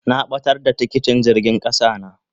Na batar da tikitin jirgin kasa na.